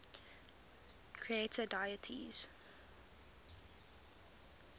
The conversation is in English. creator deities